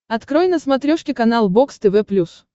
открой на смотрешке канал бокс тв плюс